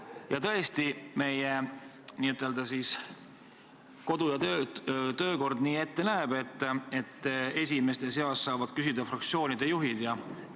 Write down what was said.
Ja tõesti, meie kodu- ja töökord näeb ette, et esimestena saavad küsida fraktsioonide juhid.